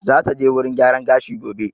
Za ta je wurin gyaran gashi gobe